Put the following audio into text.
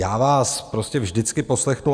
Já vás prostě vždycky poslechnu.